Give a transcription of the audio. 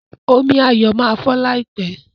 Omí Ayo má fọ láìpé.